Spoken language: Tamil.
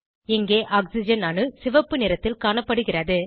இங்கே ஆக்சிஜன் அணு சிவப்பு நிறத்தில் காணப்படுகிறது